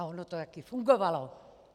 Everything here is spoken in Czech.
A ono to taky fungovalo.